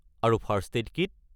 আৰু first aid kit?